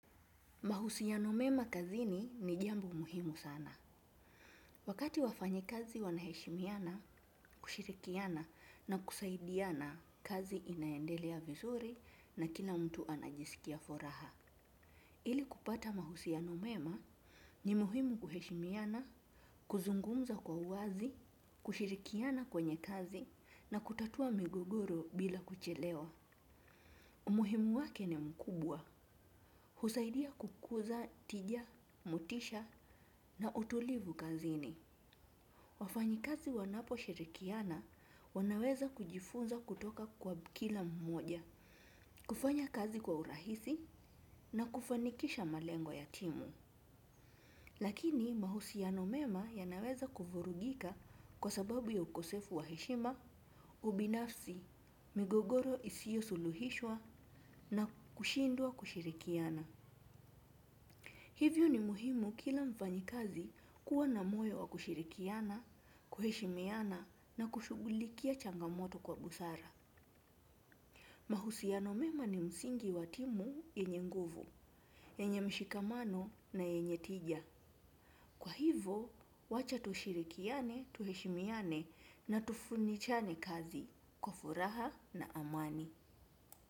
Mahusiano mema kazini ni jambo muhimu sana. Wakati wafanyakazi wanaheshimiana, kushirikiana na kusaidiana kazi inaendelea vizuri na kila mtu anajisikia furaha. Ili kupata mahusiano mema ni muhimu kuheshimiana, kuzungumza kwa wazi, kushirikiana kwenye kazi na kutatua migogoro bila kuchelewa. Umuhimu wake ni mkubwa, husaidia kukuza, tija, motisha na utulivu kazini. Wafanyi kazi wanapo shirikiana wanaweza kujifunza kutoka kwa kila mmoja, kufanya kazi kwa urahisi na kufanikisha malengo ya timu. Lakini mahusiano mema yanaweza kuvurugika kwa sababu ya ukosefu wa heshima, ubinafsi, migogoro isiyo suluhishwa na kushindwa kushirikiana. Hivyo ni muhimu kila mfanyakazi kuwa na moyo wa kushirikiana, kuheshimiana na kushughulikia changamoto kwa busara. Mahusiano mema ni msingi wa timu yenye nguvu, yenye mshikamano na yenye tija. Kwa hivyo, wacha tushirikiane, tuheshimiane na tufunishane kazi. Kwa furaha na amani.